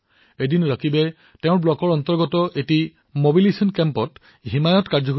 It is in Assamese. এদিন ৰকিবে তেওঁলোকৰ ব্লকত অনুষ্ঠিত হোৱা মবিলাইজেছন শিবিৰৰ বিষয়ে শুনিবলৈ পালে